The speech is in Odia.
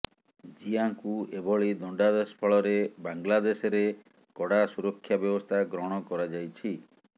ଜିଆଙ୍କୁ ଏଭଳି ଦଣ୍ଡାଦେଶ ଫଳରେ ବାଂଲାଦେଶରେ କଡା ସୁରକ୍ଷା ବ୍ୟବସ୍ଥା ଗ୍ରହଣ କରାଯାଇଛି